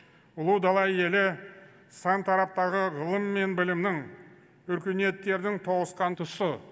ұлы дала елі сан тараптағы ғылым мен білімнің өркениеттердің тоғысқан тұсы